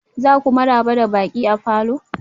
za ku maraba da baƙi a falor?